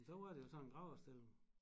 Men så var det jo sådan et graversted